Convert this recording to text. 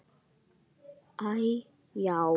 Æi, já.